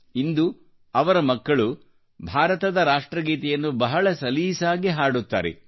ಇಂದು ಅವರ ಮಕ್ಕಳು ಭಾರತದ ರಾಷ್ಟ್ರಗೀತೆಯನ್ನು ಬಹಳ ಸಲೀಸಾಗಿ ಹಾಡುತ್ತಾರೆ